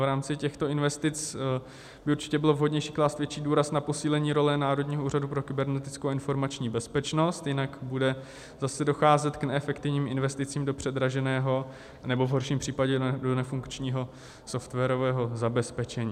V rámci těchto investic by určitě bylo vhodnější klást větší důraz na posílení role Národního úřadu pro kybernetickou a informační bezpečnost, jinak bude zase docházet k neefektivním investicím do předraženého, nebo v horším případě do nefunkčního softwarového zabezpečení.